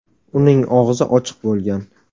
Uning og‘zi ochiq bo‘lgan.